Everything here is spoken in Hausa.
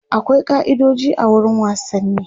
akwai kai'idoji a wurin wasanni